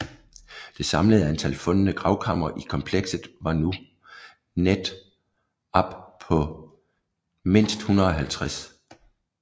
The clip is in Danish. Det samlede antal fundne gravkamre i komplekset var nu net op på mindst 150